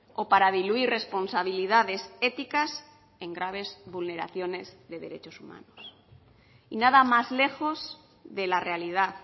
o para diluir responsabilidades éticas en graves vulneraciones de derechos humanos y nada más lejos de la realidad